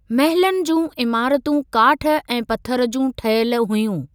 महलनि जूं इमारतूं काठ ऐं पथर जूं ठहियल हुयूं।